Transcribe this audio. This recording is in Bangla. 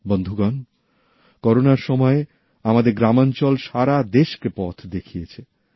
বন্ধুগণ করোনার সময়ে আমাদের গ্রামাঞ্চল সারা দেশকে পথ দেখিয়েছে